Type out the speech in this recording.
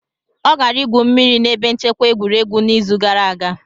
Ọ gara igwu mmiri na ebe nchekwa egwuregwu n'izu gara aga.